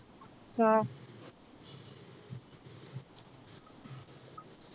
ആഹ്